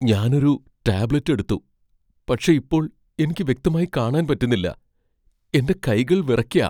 ഞാൻ ഒരു ടാബ്ലറ്റ് എടുത്തു, പക്ഷേ ഇപ്പോൾ എനിക്ക് വ്യക്തമായി കാണാൻ പറ്റുന്നില്ലാ, എന്റെ കൈകൾ വിറയ്ക്കാ.